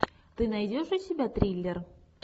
ты найдешь у себя триллер